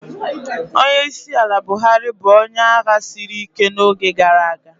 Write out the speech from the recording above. Onyeisiala Buhari bụ onye agha siri ike n'oge gara aga.